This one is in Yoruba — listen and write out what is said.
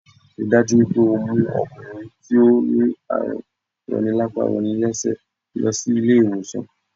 Ríi dájú wípé o mú okùnrin tí ó ní àrùn roni lápá roni lésè náà lo sí ilé ìwòsàn